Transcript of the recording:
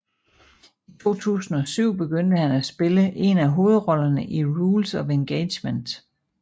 I 2007 begyndte han at spille en af hovedrollerne i Rules of Engagement